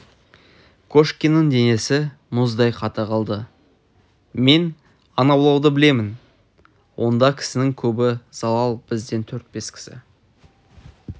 кошкиннің денесі мұздай қата қалды мен аң аулауды білем онда кісінің көбі залал бізден төрт-бес кісі